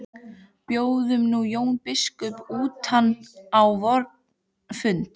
Boðum nú Jón biskup utan á vorn fund.